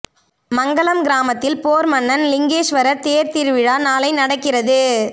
மங்கலம் கிராமத்தில் போர்மன்னன் லிங்கேஸ்வரர் தேர் திருவிழா நாளை நடக்கிறது